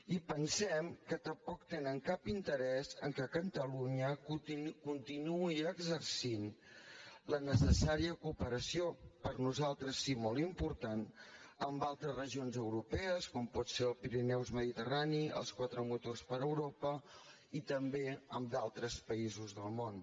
i pensem que tampoc tenen cap interès que catalunya continuï exercint la necessària cooperació per a nosal·tres sí molt important amb altres regions europees com pot ser el pirineus mediterrani els quatre motors per europa i també amb d’altres països del món